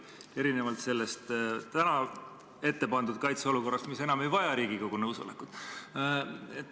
Seda erinevalt täna ette pandud kaitseolukorrast, mis enam ei vaja Riigikogu nõusolekut.